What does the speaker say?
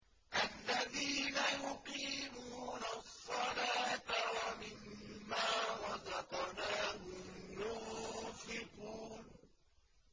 الَّذِينَ يُقِيمُونَ الصَّلَاةَ وَمِمَّا رَزَقْنَاهُمْ يُنفِقُونَ